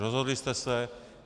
Rozhodli jste se.